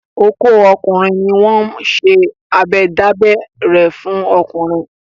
Ọkọ́ ọkùnrin ni wọ́n ń ṣe abẹ dábẹ́ rẹ̀ fún ọkùnrin.